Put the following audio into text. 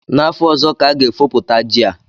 N'afọ ọzọ ka a ga-efopụta ji a